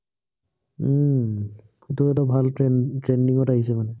উম সেইটো এটা ভাল trend trending ত আহিছে মানে